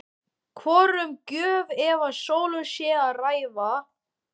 Hvort um gjöf eða sölu sé að ræða?